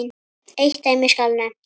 Eitt dæmi skal nefnt.